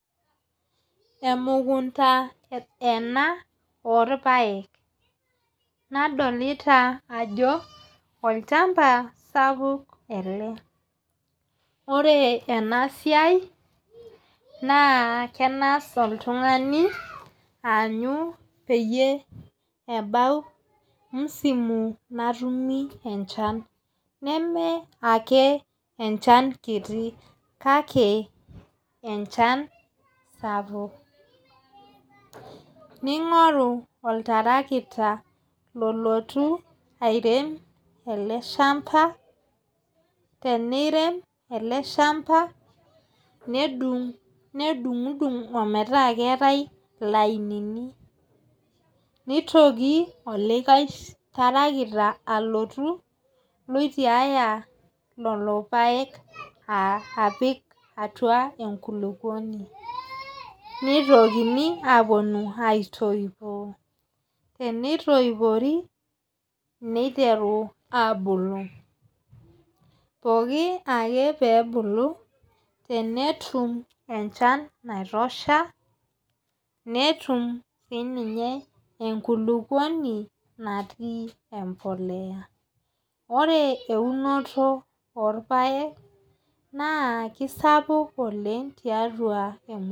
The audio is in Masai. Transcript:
Emukunta ena oorpaek. nadolita ajo olchampa sapuk ele. ore ena siai naa kenaas oltungani aanyu peyie ebau musima natumia enchan. neme ake enchan kiti kake enchan sapuk. nungoru oltarakita lolotu airem ele shampa. teneirem ele shampa nedung'idung ometaa keetae ilainini. nitoki olikae tarakita alotu loitiaya Lolo paek apik atua enkulupuoni. nitokini aapuonu aitoipoo. tenitoopori, neiteru aabulu. pooku ake pee ebulu, tenetum enchan naitosha. netum sii ninye enkulupuoni natii empuliya. ore eunore olpaek naa kisapuk oleng tiatua